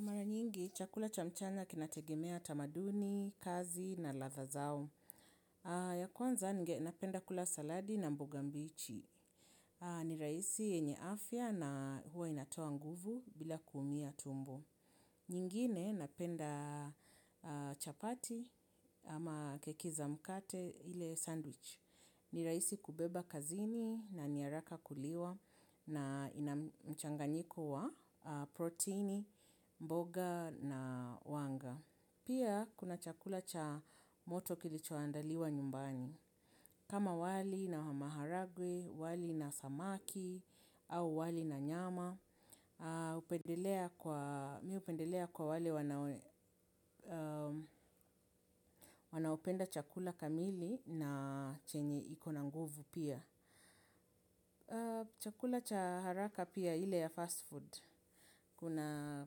Mara nyingi, chakula cha mchana kinategemea tamaduni, kazi na ladha zao. Ya kwanza, nge, napenda kula saladi na mboga mbichi. Ni rahisi yenye afya na huwa inatoa nguvu bila kuumia tumbo. Nyingine, napenda chapati ama keki za mkate ile sandwich. Ni rahisi kubeba kazini na niharaka kuliwa na inamchanganyiko wa protini, mboga na wanga. Pia kuna chakula cha moto kilichoandaliwa nyumbani. Kama wali na maharagwe, wali na samaki, au wali na nyama, mi hupendelea kwa wale wanao wanaopenda chakula kamili na chenye iko na nguvu pia. Chakula cha haraka pia ile ya fast food. Kuna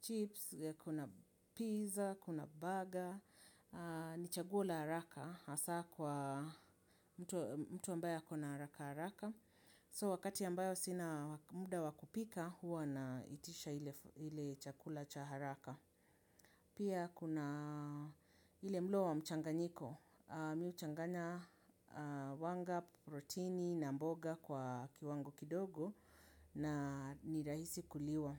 chips, kuna pizza, kuna burger. Ni chaguo la haraka hasa kwa mtu, mtu ambaye ako na haraka haraka So wakati ambayo sina muda wa kupika huwa naitisha ile chakula cha haraka. Pia kuna ile mlo wa mchanganyiko mi huchangana wanga, protini na mboga kwa kiwango kidogo na nirahisi kuliwa.